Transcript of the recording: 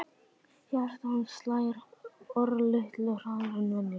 Hjarta hans slær örlitlu hraðar en venjulega.